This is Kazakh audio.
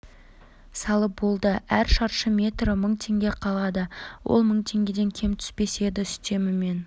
салып болды әр шаршы метрі мың теңге қалада ол мың теңгеден кем түспес еді үстемемен